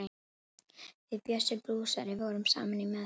Við Bjössi blúsari vorum saman í meðferð.